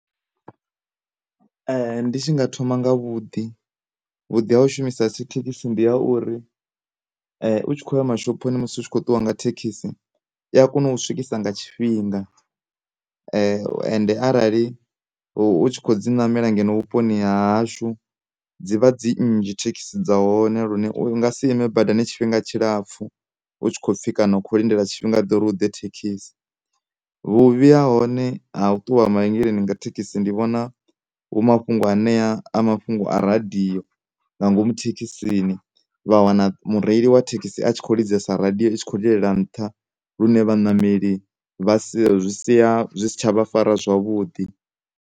Ndi tshi nga thoma nga vhuḓi, vhuḓi ha hu shumisa thikhithi ndi ha uri u tshi khoya mashoponi musi u tshi kho ṱuwa nga thekhisi i ya kona u swikisa nga tshifhinga, ende arali u tshi kho dzi namela ngeno vhuponi hashu dzivha dzi nnzhi thekhisi dza hone lune u nga si ime badani tshifhinga tshilapfhu hu tshi khopfhi kana u kho lindela tshinga ḓe uri hu ḓe thekhisi. Vhuvhi ha hone ha u ṱuwa mavhengeleni nga dzi thekhisi ndi vhona a mafhungo ane a mafhungo a radiyo nga ngomu thekhisini vha wana mureili wa thekhisi a tshi kho lidzesa radiyo i tshi kho lilela nṱha lune vhanameli vha sia, zwi sia, zwi si tsha vha fara zwavhuḓi.